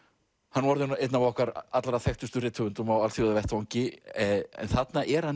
hann er orðinn einn af okkar allra þekktustu rithöfundum á alþjóðavettvangi en þarna er hann